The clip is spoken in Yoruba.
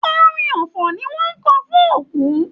Orin ọfọ̀ ni wọn n kọ fún òkú.